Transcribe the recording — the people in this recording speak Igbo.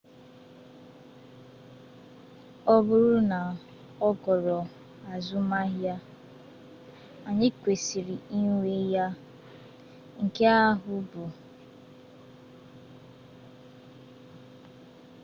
ọ bụrụ na ọ ghọrọ azụmahịa anyị kwesịrị inwe ya nke ahụ bụ enweghị nkwekọrịta dị adị maka ike nuklia mr costello kwuru